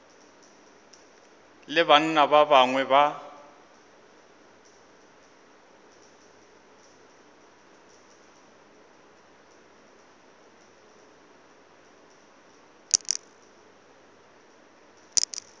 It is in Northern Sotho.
le banna ba bangwe ba